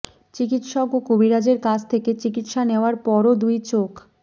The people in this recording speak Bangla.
চিকিৎসক ও কবিরাজের কাছ থেকে চিকিৎসা নেওয়ার পরও দুই চোখ